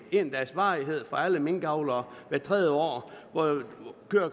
en dags varighed for alle minkavlere hvert tredje år